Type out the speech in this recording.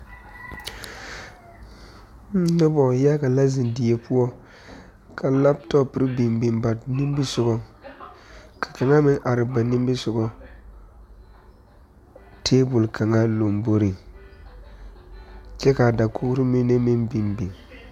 Noba yaga la zeŋ fie poɔ ka laptop biŋ biŋ ba nimisɔgɔ ka kaŋa meŋ are ba nimisɔgɔ table kaŋa lomboriŋ kyɛ ka a dakogri mine meŋ biŋ biŋ.